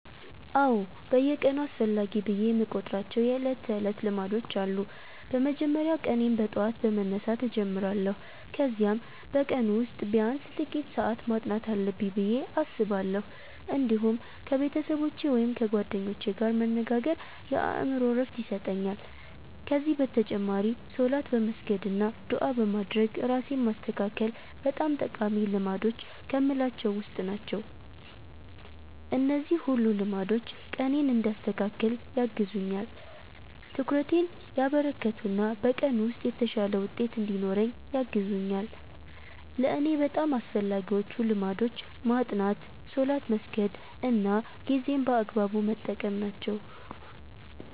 አዎ፣ በየቀኑ አስፈላጊ ብዬ የምቆጥራቸው የዕለት ተዕለት ልማዶች አሉ። በመጀመሪያ ቀኔን በጠዋት በመነሳት እጀምራለሁ፣ ከዚያም በቀኑ ውስጥ ቢያንስ ጥቂት ሰዓት ማጥናት አለብኝ ብዬ አስባለሁ። እንዲሁም ከቤተሰቦቼ ወይም ከጓደኞቼ ጋር መነጋገር የአእምሮ ዕረፍት ይሰጠኛል። ከዚህ በተጨማሪ ሶላት በመስገድ አና ዱዓ በማድረግ ራሴን ማስተካከል በጣም ጠቃሚ ልማዶች ከምላቸዉ ዉስጥ ናቸው። እነዚህ ሁሉ ልማዶች ቀኔን እንዲያስተካክል ያግዙኛል፣ ትኩረቴን ያበረከቱ እና በቀኑ ውስጥ የተሻለ ውጤት እንድኖረኝ ያግዙኛል። ለእኔ በጣም አስፈላጊዎቹ ልማዶች ማጥናት፣ ሶላት መስገድ እና ጊዜን በአግባቡ መጠቀም ናቸው።